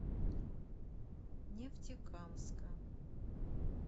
нефтекамска